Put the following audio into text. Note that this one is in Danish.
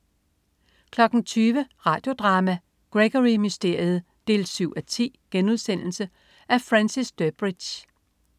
20.00 Radio Drama: Gregory Mysteriet 7:10.* Af Francis Durbridge